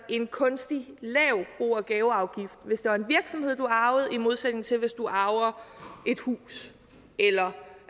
en kunstigt lav bo og gaveafgift hvis det var en virksomhed du arvede i modsætning til hvis du arvede et hus eller